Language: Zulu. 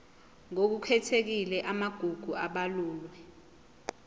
ngokukhethekile amagugu abalulwe